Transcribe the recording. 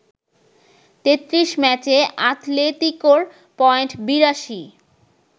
৩৩ ম্যাচে আতলেতিকোর পয়েন্ট ৮২।